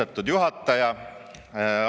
Austatud juhataja!